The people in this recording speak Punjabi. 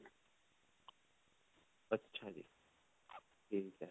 ਅੱਛਾ ਜੀ. ਠੀਕ ਹੈ.